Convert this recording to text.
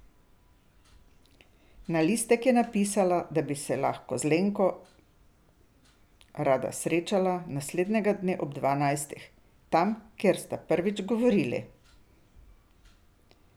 Na listek je napisala, da bi se z Lenko rada srečala naslednjega dne ob dvanajstih, tam, kjer sta prvič govorili.